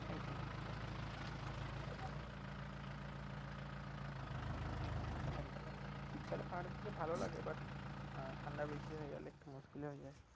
একদম একদম শীতকালে পাহাড়ের দিকে ভালো লাগে but ঠান্ডা বেশি হয়ে গেলে একটু মুকিলি হয়ে যাবে